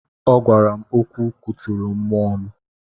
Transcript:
Ọ gwara m okwu kụturu mmụọ m.